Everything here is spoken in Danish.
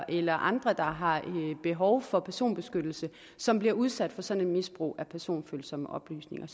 eller andre der har behov for personbeskyttelse som bliver udsat for sådan et misbrug af personfølsomme oplysninger